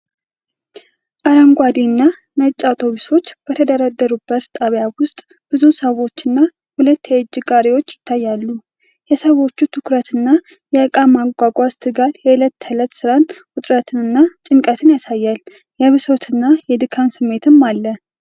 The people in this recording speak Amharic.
አረንጓዴና ነጭ አውቶቡሶች በተደረደሩበት ጣቢያ ውስጥ፤ ብዙ ሰዎችና ሁለት የእጅ ጋሪዎች ይታያሉ። የሰዎቹ ትኩረትና የእቃ ማጓጓዝ ትጋት የዕለት ተዕለት ሥራን ውጥረትንና ጭንቀትን ያሳያል፤ የብሶትና የድካም ስሜትም አለ።